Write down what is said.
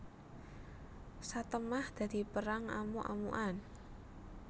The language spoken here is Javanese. Satemah dadi perang amuk amukan